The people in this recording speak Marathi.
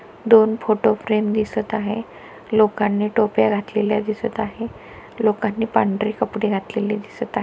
दोन फोटो फ्रेम दिसत आहे. लोकांनी टोप्या घातलेल्या दिसत आहे. लोकांनी पांढरे कपडे घातलेले दिसत आहे.